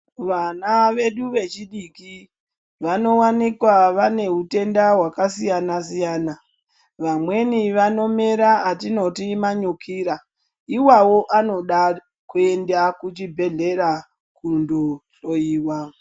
Vana vedu vechidiki vanowanikwa vane hutenda hwakasiyana siyana vamweni vanomera atinoti manyukira iwawo anoda kuenda kuchibhedhlera kundohloiwa.